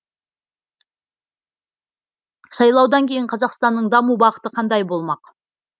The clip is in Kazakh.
сайлаудан кейін қазақстанның даму бағыты қандай болмақ